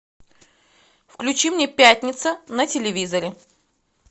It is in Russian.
включи мне пятница на телевизоре